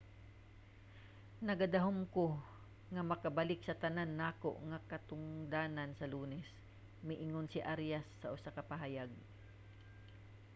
nagadahom ko nga makabalik sa tanan nako nga katungdanan sa lunes, miingon si arias sa usa ka pahayag